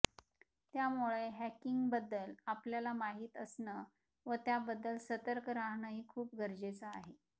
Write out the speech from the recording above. त्यामुळे हॅकिंगबद्दल आपल्याला माहीत असणं व त्याबद्दल सर्तक राहणंही खूप गरजेचं आहे